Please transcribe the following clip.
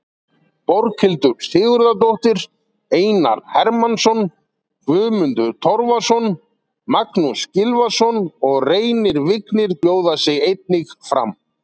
Borghildur Sigurðardóttir, Einar Hermannsson, Guðmundur Torfason, Magnús Gylfason og Reynir Vignir bjóða sig einnig fram.